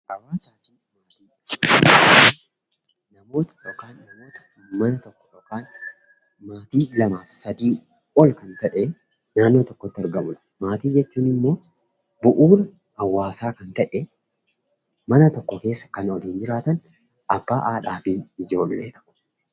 Hawaasni uummata naannoo tokkoo kan lama yookiin sadii ta'ee argamu yoo ta'u, maatii jechuun immoo bu'uura hawaasaa kan ta'e mana tokko keessa kan waliin jiraatan abbaa, haadhaa fi ijoolleedha.